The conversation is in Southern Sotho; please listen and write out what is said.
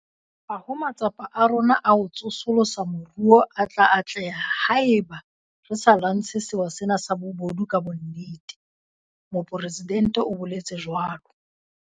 Ha ho matsapa a rona a ho tsosolosa moruo a tla atleha haeba re sa lwantshe sewa sena sa bobodu ka bonnete, Mopresidente o boletse jwalo.